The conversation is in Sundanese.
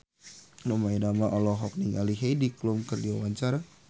Rhoma Irama olohok ningali Heidi Klum keur diwawancara